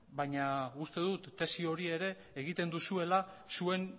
baina uste dut tesi hori ere egiten duzuela zuen